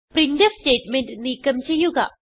printf statement നീക്കം ചെയ്യുക